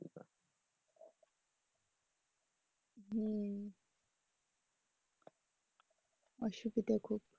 অসুবিধা খুব।